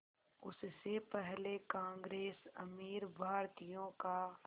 उससे पहले कांग्रेस अमीर भारतीयों का